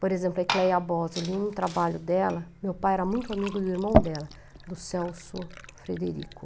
Por exemplo, a Ecleia Bose, eu li um trabalho dela, meu pai era muito amigo do irmão dela, do Celso Frederico.